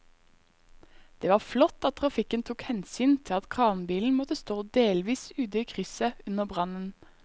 Det var flott at trafikken tok hensyn til at kranbilen måtte stå delvis ute i krysset under brannen.